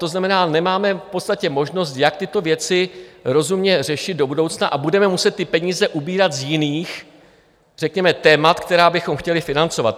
To znamená, nemáme v podstatě možnost, jak tyto věci rozumně řešit do budoucna, a budeme muset ty peníze ubírat z jiných řekněme témat, která bychom chtěli financovat.